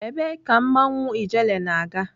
Ebee ka mmanwụ ijele na-aga?